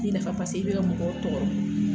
I nafa paseke i bi ka mɔgɔw tɔgɔ.